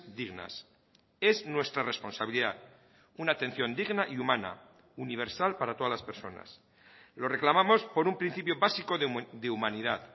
dignas es nuestra responsabilidad una atención digna y humana universal para todas las personas lo reclamamos por un principio básico de humanidad